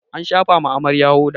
an shafawa Amarya hoda